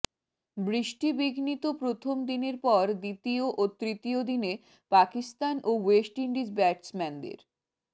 বৃষ্টিবিঘ্নিত প্রথম দিনের পর দ্বিতীয় ও তৃতীয় দিনে পাকিস্তান ও ওয়েস্ট ইন্ডিজ ব্যাটসম্যানদের